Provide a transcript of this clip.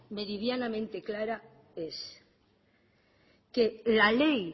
meridianamente clara es que la ley